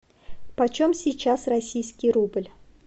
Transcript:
почем сейчас российский рубль